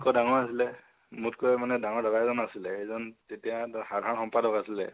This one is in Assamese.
মোত্কৈ ডাঙৰ আছিলে, মোত্কৈ মানে ডাঙৰ দাদা এজন আছিলে, সেইজন তেতিয়া সাধাৰণ সম্পাদক আছিলে